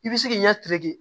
I bi se k'i ɲɛ